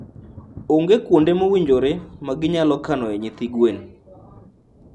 Onge kuonde mowinjore ma ginyalo kanoe nyithi gwen.